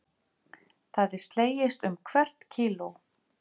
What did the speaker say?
Það er slegist um hvert kíló